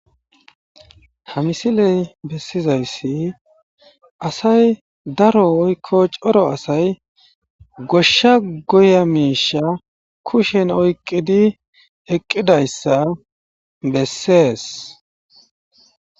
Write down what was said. ha misiley bessizayssi asay daro oykko coro asay goshsha goya miisha kushen oyqqidi eqqidayssa bessees